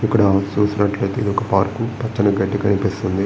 ఇక్కడ చూసినట్లు అయితే ఇది ఒక పార్క్ పచ్చని గడ్డి కనిపిస్తుంది.